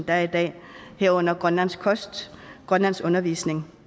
er i dag herunder grønlandsk kost grønlandsk undervisning